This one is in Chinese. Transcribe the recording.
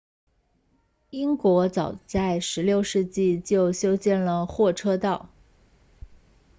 英国早在16世纪就修建了货车道